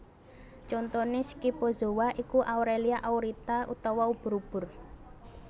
Contoné Scyphozoa iku Aurelia Aurita utawa ubur ubur